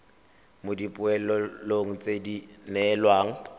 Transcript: mo dipoelong tse di neelwang